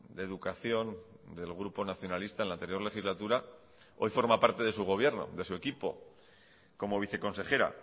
de educación del grupo nacionalista en la anterior legislatura hoy forma parte de su gobierno de su equipo como viceconsejera